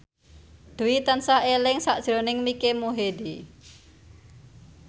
Dwi tansah eling sakjroning Mike Mohede